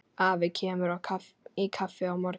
Afi kemur í kaffi á morgun.